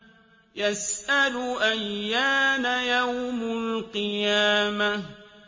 يَسْأَلُ أَيَّانَ يَوْمُ الْقِيَامَةِ